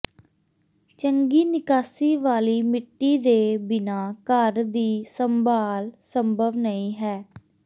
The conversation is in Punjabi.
ਚੰਗੀ ਨਿਕਾਸੀ ਵਾਲੀ ਮਿੱਟੀ ਦੇ ਬਿਨਾਂ ਘਰ ਦੀ ਸੰਭਾਲ ਸੰਭਵ ਨਹੀਂ ਹੈ